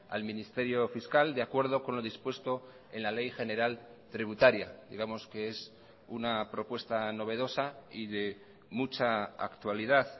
al ministerio fiscal de acuerdo con lo dispuesto en la ley general tributaria digamos que es una propuesta novedosa y de mucha actualidad